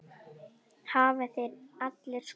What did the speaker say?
Hafi þeir allir skömm fyrir!